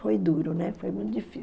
Foi duro, foi muito